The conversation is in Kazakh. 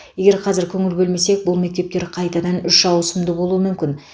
егер қазір көңіл бөлмесек бұл мектептер қайтадан үш ауысымды болуы мүмкін